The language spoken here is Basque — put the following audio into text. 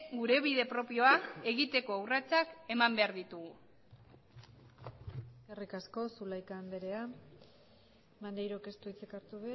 gure bide propioa egiteko urratsak eman behar ditugu eskerrik asko zulaika andrea maneirok ez du hitzik hartu